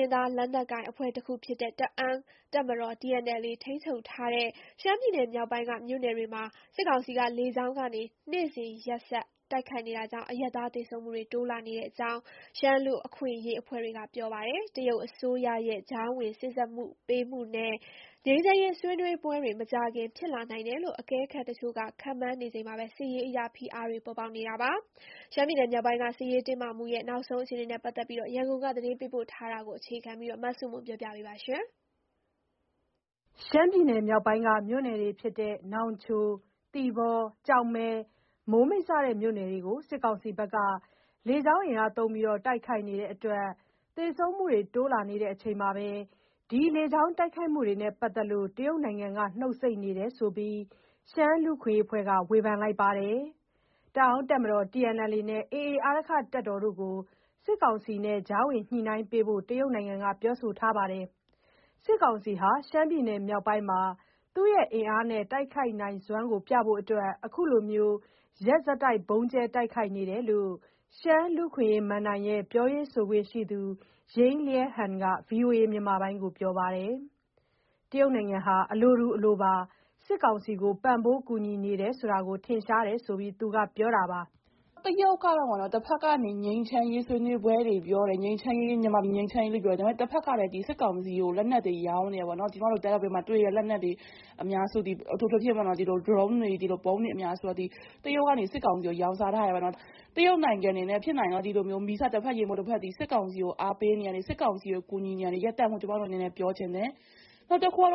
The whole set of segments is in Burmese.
ရင်းသား လက်နက်ကိုင်အဖွဲ့တခုဖြစ်တဲ့ တအောင်းတပ်မတော် TNLA ထိန်းချုပ်ထားတဲ့ ရှမ်းပြည်နယ်မြောက်ပိုင်းက မြို့နယ်တွေမှာ စစ်ကောင်စီက လေကြောင်းကနေ နေ့စဉ်ရက်ဆက် တိုက်ခိုက်နေတာကြောင့် အရပ်သား သေဆုံးမှုတွေ တိုးလာနေကြောင်း ရှမ်းလူ့အခွင့်အရေးအဖွဲ့တွေက ပြောပါတယ်။ တရုတ်အစိုးရရဲ့ ကြားဝင်စေ့စပ်ပေးမှုနဲ့ ငြိမ်းချမ်းရေး ဆွေးနွေးပွဲတွေ မကြာခင် ဖြစ်လာနိုင်တယ်လို့ အကဲခတ်တချို့က ခန့်မှန်းနေချိန်မှာပဲ စစ်ရေးအရ ဖိအားတွေလည်း ပေါ်ပေါက် နေတာပါ။ ရှမ်းပြည်နယ် မြောက်ပိုင်းက စစ်ရေးတင်းမာမှု နောက်ဆုံးအခြေအနေ ရန်ကုန်က သတင်းပေးပို့ ထားတာကို အခြေခံပြီး တင်ပြထားပါတယ်။ ရှမ်းပြည်နယ်မြောက်ပိုင်း မြို့နယ်တွေဖြစ်တဲ့ နောင်ချို၊ သီပေါ၊ ကျောက်မဲ၊ မိုးမိတ် စတဲ့မြို့နယ်တွေကို စစ်ကောင်စီက လေကြောင်းသုံးတိုက်ခိုက်နေတဲ့အတွက် သေဆုံးမှုတွေတိုးလာနေချိန်မှာ ဒီတိုက်ခိုက်မှု တွေနဲ့ပတ်သက်လို့ တရုတ်နိုင်ငံက နှုတ်ဆိတ်နေတယ်ဆိုပြီး ရှမ်းလူ့အခွင့်အရေးအဖွဲ့က ဝေဖန်ပါတယ်။ တအောင်းတပ်မတော် TNLA နဲ့ AA အာရက္ခတပ်တို့ကို စစ်ကောင်စီနဲ့ ကြားဝင်ညှိနှိုင်းပေးဖို့ တရုတ်နိုင်ငံက ပြောထားပါတယ်။ စစ်ကောင်စီဟာ ရှမ်းပြည်နယ်မြောက်ပိုင်းမှာ သူ့ရဲ့ အင်အားနဲ့တိုက်ခိုက်နိုင်စွမ်းကိုပြဖို့ အခုလို ရက်ဆက် ဗုံးကြဲတိုက်ခိုက်နေတာလို့ ရှမ်းလူ့အခွင့်အရေးမဏ္ဍိုင်ရဲ့ ပြောရေးဆိုခွင့်ရှိသူ ယိင်းလျန်းဟန် က ဗွီအိုအေကို ပြောပါတယ်။တရုတ်နိုင်ငံကလည်း အလိုတူ အလိုပါ စစ်ကောင်စီကို ပံ့ပိုးကူညီနေတယ်ဆိုတာ ထင်ရှားတယ်ဆိုပြီး ပြောပါတယ်။ "တရုတ်က တဘက်ကနေ ငြိမ်းချမ်းရေးဆွေးနွေးပွဲတွေပြောတယ်၊ မြန်မာပြည် ငြိမ်းချမ်းရေးကို ပြောတယ်။ ဒါပေမဲ့ တဘက်ကလည်း စစ်ကောင်စီကိုလက်နက်တွေ ရောင်းနေတယ်ပေါ့။ ကျမတို့ တအာင်းပြည်မှာတွေ့တဲ့ လက်နက်အများစုသည် အထူးသဖြင့် ဗုံးတွေ၊ ဒရုန်းတွေသည် တရုတ်က စစ်ကောင်စီကို ရောင်းစားထားတယ်ပေါ့။ တရုတ်နိုင်ငံအနေနဲ့ ဖြစ်နိုင်ရင်တော့ ဒီလို မီးစတဖက်၊ ရေမှုတ်တဖက် စစ်ကောင်စီကို အားပေးတာ၊ ကူညီနေတာတွေ ရပ်တန့်ဖို့ ကျမတို့အနေနဲ့ ပြောချင်တယ်။" ပြီးခဲ့တဲ့ ၂၀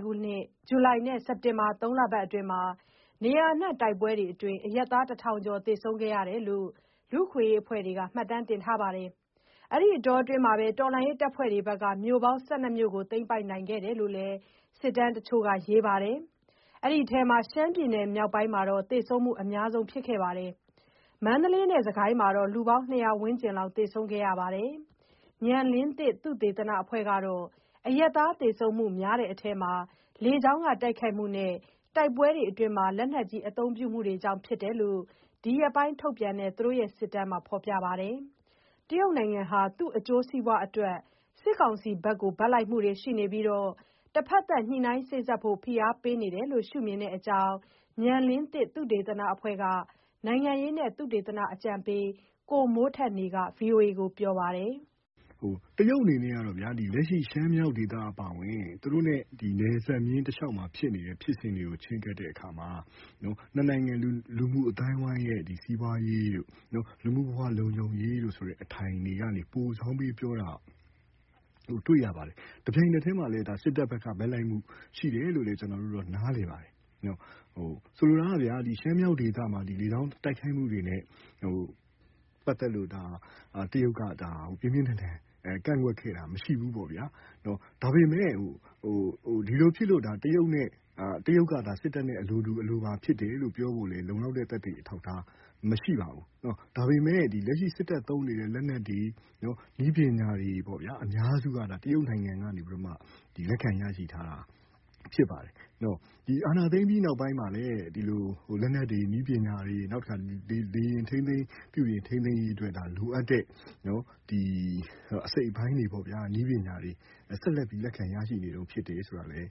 ၂၄ ဇူလိုင်နဲ့ စက်တင်ဘာ သုံးလအတွင်းမှာ နေရာအနှံ့က တိုက်ပွဲတွေအတွင်း အရပ်သား တထောင်ကျော် သေဆုံးခဲ့တယ်လို့ လူ့အခွင့်အရေးအဖွဲ့တွေ မှတ်တမ်းတင်ထားပါတယ်။ အဲဒီအတောအတွင်း တော်လှန်ရေးတပ်ဖွဲ့တွေက မြို့ပေါင်း ၁၂ မြို့ကို သိမ်းပိုက်နိုင်ခဲ့တယ်လို့ စစ်တမ်း တချို့က ရေးပါတယ်။ အဲဒီအထဲမှာ ရှမ်းပြည်နယ်မြောက်ပိုင်းက သေဆုံးမှုအများဆုံး ဖြစ်ခဲ့ပါတယ်။ မန္တလေးနဲ့စစ်ကိုင်းမှာတော့ လူပေါင်း ၂၀၀ ဝန်းကျင်လောက် သေဆုံးခဲ့ပါတယ်။ ဉာဏ်လင်းသစ် သုတေသနအဖွဲ့ကတော့ အရပ်သားသေဆုံးမှုများတဲ့အထဲမှာ လေကြောင်းတိုက်ခိုက်မှုနဲ့ တိုက်ပွဲအတွင်း လက်နက်ကြီး အသုံးပြုမှုတွေကြောင့် ဖြစ်တယ်လို့ ဒီရက်ပိုင်းထုတ်ပြန်နေတဲ့ သူတို့ရဲ့ စစ်တမ်းတွေမှာ ဖော်ပြထားပါတယ်။ တရုတ်နိုင်ငံဟာ သူ့အကျိုးစီးပွားအတွက် စစ်ကောင်စီဘက်က ဘက်လိုက်နေပြီး တဘက်သတ် စေ့စပ်ရေး ဖိအားပေးနေတယ်လို့ မြင်တဲ့အကြောင်း ဉာဏ်လင်းသစ်သုတေသနအဖွဲ့က နိုင်ငံရေးနဲ့ သုတေသနအကြံပေး ကိုမိုးထက်နေက VOA ကို ပြောပါတယ်။ "တရုတ်အနေနဲ့ လက်ရှိ ရှမ်းမြောက်ဒေသအပါအဝင် သူတို့နဲ့နယ်စပ်မျဉ်းတလျှောက်က ဖြစ်စဉ်တွေကို ချဉ်းကပ်တဲ့အခါမှာ နှစ်နိုင်ငံ လူမှုအသိုင်းအဝန်းရဲ့ စီးပွားရေးတို့ လူမှုဘဝ လုံခြုံရေးဆိုတဲ့ အထိုင်ကနေ ပိုစောင်းပြောတာ တွေ့ရပါတယ်။ တပြိုင်နက်တည်းမှာပဲ စစ်တပ်ဘက်က ဘက်လိုက်မှုရှိတယ်လို့ ကျနော်တို့က နားလည်ပါတယ်။ ဆိုလိုတာက ရှမ်းမြောက်ဒေသမှာ လေကြောင်းတိုက်ခိုက်မှုတွေနဲ့ ပက်သက်လို့ တရုတ်က ပြင်ပြင်းထန်ထန် ကန့်ကွက်ခဲ့တာမရှိဘူး။ ဒါပေမဲ့ ဒါဖြစ်လို့ တရုတ်က စစ်တပ်နဲ့အလိုတူပါလို့ ပြောဖို့ လုံလောက်တဲ့ သက်သေအထောက်အထား မရှိပါဘူး။ ဒါပေမဲ့ စစ်တပ်သုံးနေတဲ့ လက်နက်တွေ နည်းပညာအများစုက တရုတ်နိုင်ငံကနေ လက်ခံရယူထားတာ ဖြစ်ပါတယ်။ အာဏာသိမ်းပြီးနောက်မှာလည်း လက်နက်တွေ၊ နည်းပညာတွေ လေယာဉ် ထိန်းသိမ်းရေးအတွက် လိုအပ်တဲ့အစိတ်အပိုင်းတွေ ဆက်လက်ပြီး လက်ခံရနေတုန်း ဖြစ်တယ်ဆိုတာလည်း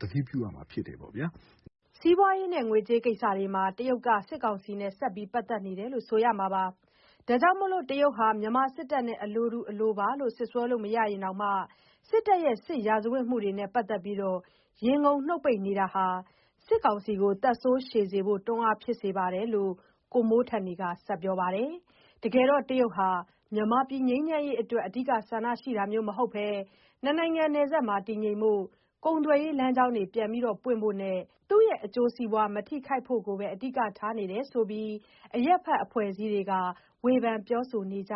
သတိပြုရမှာဖြစ်တယ်။" စီးပွားရေ၊ ငွေကြေးကိစ္စတွေမှာ တရုတ်က စစ်ကောင်စီနဲ့ ဆက်ပြီး ပတ်သက်နေတယ်လို့ ဆိုရမှာပါ။ ဒါကြောင့် တရုတ်ဟာ မြန်မာစစ်တပ်နဲ့ အလိုတူပါလို့ စွတ်စွဲလို့ မရရင်တောင်မှ စစ်တပ်ရဲ့ စစ်ရာဇာဝတ်မှုတွေနဲ့ပတ်သက်ပြီး ရေငုံနှုတ်ပိတ်နေတာဟာ စစ်တပ်ကိုသက်ဆိုးရှည်စေဖို့ တွန်းအားဖြစ်နေကြောင်း ကိုမိုးထက်နေက ပြောပါတယ်။ တကယ်တော့ တရုတ်ဟာ မြန်မာပြည်ငြိမ်းချမ်းရေးအတွက် အဓိက ဆန္ဒရှိတာမျိုးမဟုတ်ဘဲ နှစ်နိုင်ငံ နယ်စပ်မှာ တည်ငြိမ်ဖို့၊ ကုန်သွယ်ရေးလမ်းကြောင်း ပြန်ပွင့်ဖို့နဲ့ သူ့ရဲ့ အကျိုးစီးပွား မထိခိုက်ဖို့ကိုပဲ အဓိက ထားနေတယ်ဆိုပြီး အရပ်ဖက် အဖွဲ့အစည်းတွေက ဝေဖန်ပြောဆိုနေကြ